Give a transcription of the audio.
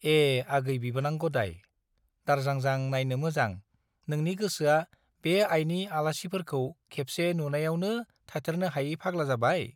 ए आगै बिबोनां गदाय, दारजांजां नाइनो मोजां, नोंनि गोसोआ बे आइनि आलासिफोरखौ खेबसे नुनाइयावनो थाथेरनो हायै फाग्ला जाबाय ?